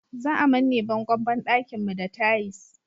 Za a manne bangon banɗakin mu da tais